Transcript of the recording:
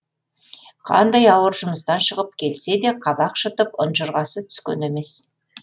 қандай ауыр жұмыстан шығып келсе де қабақ шытып ұнжырғасы түскен емес